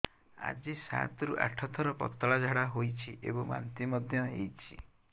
ଆଜି ସାତରୁ ଆଠ ଥର ପତଳା ଝାଡ଼ା ହୋଇଛି ଏବଂ ବାନ୍ତି ମଧ୍ୟ ହେଇଛି